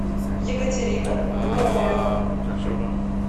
екатерина глумова